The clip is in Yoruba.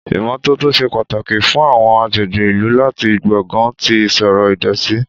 Ìmọ́tótó ṣe pàtàkì fún àwọn agbègbè ìlú láti gbógun ti ìṣòro ìdọ̀tí.